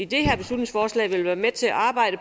det her beslutningsforslag vil være med til at arbejde